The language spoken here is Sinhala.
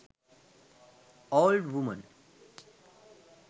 old woman